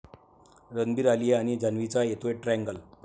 रणबीर, आलिया आणि जान्हवीचा येतोय ट्रॅंगल!